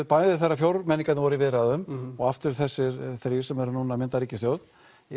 bæði þegar fjórmenningarnir voru í viðræðum og aftur þessir þrír sem eru núna að mynda ríkisstjórn